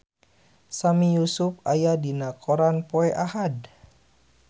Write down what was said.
Sami Yusuf aya dina koran poe Ahad